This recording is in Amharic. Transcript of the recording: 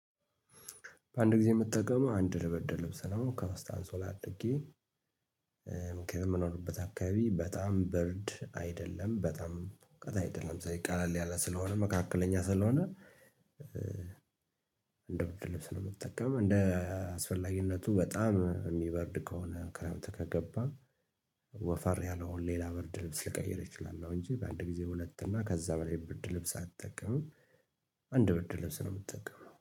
በአንድ ጊዜ የምትጠቀመው አንድ ብርድልብስ ነው ከውስጥአንሶላ አድርጌ። ምክንያቱም የምኖርበት አካባቢ በጣም በርድ አይደለም በጣም ሙቀት አይደለም ስለዚህ ቀለል ያለ ስለሆነ መካከለኛ ስለሆነ። እንደ ብድር ልብስ ነው የምትጠቀመው እንደ አስፈላጊነቱ በጣም የሚበርድ ከሆነ ክረምት ከገባ። ወፈር ያለው አሁን ሌላ በርድ ልብስ ሊቀይር እችላል እንጂ በአንድ ጊዜ ሁለት እና ከዛ በላይ ብርድልብስ አልጠቀምም። አንድ ብርድልብስ ነው የምጠቀመው